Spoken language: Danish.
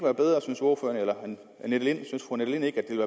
virkelig kunne lave et